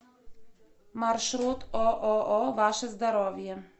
маршрут ооо ваше здоровье